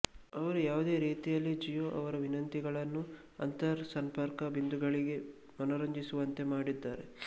ಅವರು ಯಾವುದೇ ರೀತಿಯಲ್ಲಿ ಜಿಯೊ ಅವರ ವಿನಂತಿಗಳನ್ನು ಅಂತರ್ಸಂಪರ್ಕ ಬಿಂದುಗಳಿಗೆ ಮನರಂಜಿಸುವಂತೆ ಮಾಡಿದ್ದಾರೆ